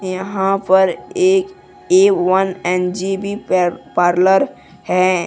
यहां पर एक ए_वन एन_जी_बी पार्लर हैं।